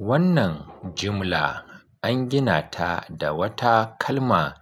Wannan jimla an gina ta da wata kalma